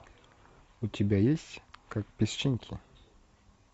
у тебя есть как песчинки